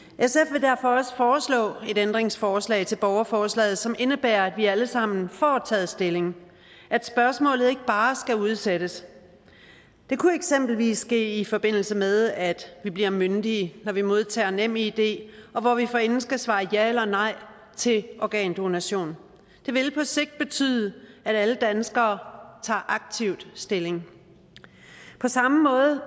vil derfor også foreslå et ændringsforslag til borgerforslaget som indebærer at vi alle sammen får taget stilling at spørgsmålet ikke bare skal udsættes det kunne eksempelvis ske i forbindelse med at vi bliver myndige når vi modtager nemid og hvor vi forinden skal svare ja eller nej til organdonation det vil på sigt betyde at alle danskere tager aktivt stilling på samme måde